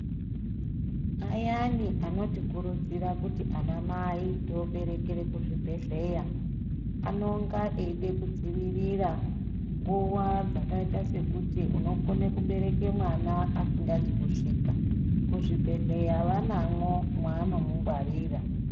Ayani anotikurudzira kuti anamai tooberekere kuzvibhedhleya, anonga eide kudzivirira nguwa dzakaita sekuti unokono kubereka mwana asingazi kusvika. Kuzvibhedhleya vanamwo mwavanomungwarira.